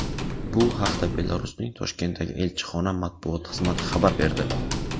Bu haqda Belarusning Toshkentdagi elchixona matbuot xizmati xabar berdi .